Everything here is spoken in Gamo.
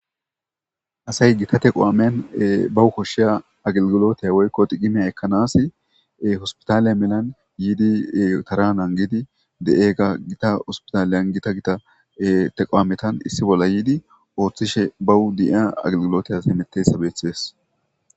asay gika te qowamen bawu koshshiya aglgilotayawoykko digimeya ekkanas hospitaliya melan yiidi taranan giidi de'eega gita hospitaaliyan gita gita teqawametan issi bolla yiidi ooththishe bawu di'ia aglgilotayas emetteyssa beeththees.